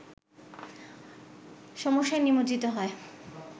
সমস্যায় নিমজ্জিত হয়